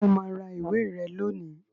Ṣé o máa ra ìwé rẹ lónìí